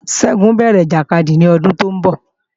Ṣẹ́gun ó bẹ̀rẹ̀ ìjàkadì ní ọdún tóún bọ̀